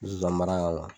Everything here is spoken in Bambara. Zonzani mara